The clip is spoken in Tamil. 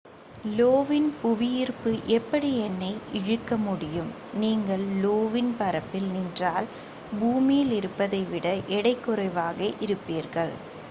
லோ வின் புவியீர்ப்பு எப்படி என்னை இழுக்க முடியும் நீங்கள் லோ வின் பரப்பில் நின்றால் பூமியில் இருப்பதை விட எடை குறைவாக இருப்பீர்கள்